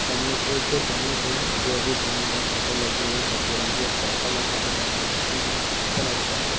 सामने एक बैंक है जो अभी बंद है शटर लगी हुई है कत्थई रंग की एक साइकल रखा गया है |